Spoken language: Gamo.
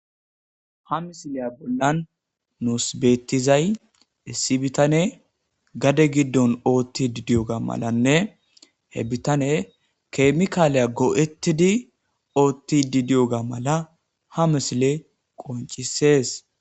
ha misileya bollan nuus beettizay issi bitane gade giddon ootti didiyoga malanne he bitane keemikaaliya goo7ettidi oottidi diyoga mala ha misile qoncisees